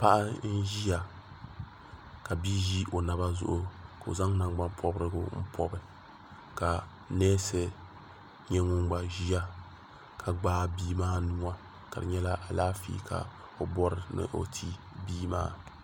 paɣa n ʒiya ka bia ʒi o naba zuɣu ka o zaŋ nangbani pobirigu n pobi ka neesi nyɛ ŋun gba ʒiya ka gbaai bia maa nuwa ka di nyɛla Alaafee ka o bori ni o ti bia maa